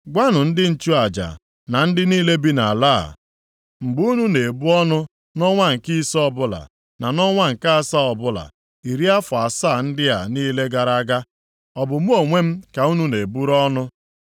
“Gwanụ ndị nchụaja na ndị niile bi nʼala a, ‘Mgbe unu na-ebu ọnụ nʼọnwa nke ise ọbụla, na nʼọnwa nke asaa ọbụla, iri afọ asaa ndị a niile gara aga, ọ bụ mụ ka unu na-eburu ọnụ?